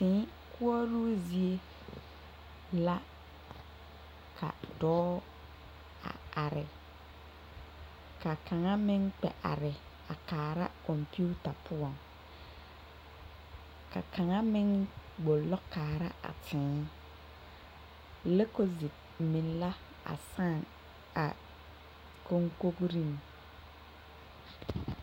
Tèè koɔroo zie la ka dɔɔ a are ka kaŋa meŋ kpɛ are kaara kɔmpiuta poɔŋ ka kaŋa meŋ gbɔlɔ kaara a tèè likɔzu meŋ la a saa a koŋkoŋriŋ.